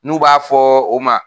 N'u b'a fɔ o ma